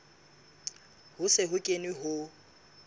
ho se ho kenwe ho